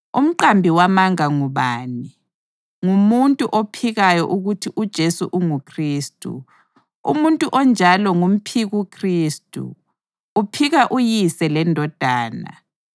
Umqambi wamanga ngubani? Ngumuntu ophikayo ukuthi uJesu unguKhristu. Umuntu onjalo ngumphikuKhristu, uphika uYise leNdodana.